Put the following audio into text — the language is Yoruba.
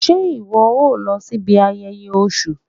se iwọ o lo sibí ayéyé Òsún?